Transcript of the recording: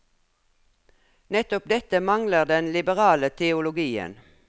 Nettopp dette mangler den liberale teologien.